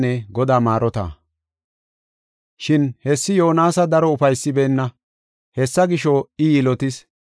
Shin hessi Yoonasa daro ufaysibeenna. Hessa gisho, I yilotis.